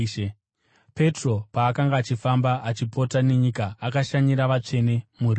Petro paakanga achifamba achipota nenyika, akashanyira vatsvene muRidha.